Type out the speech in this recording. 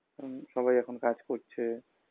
হুম সবাই এখন কাজ করছে